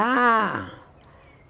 Ah!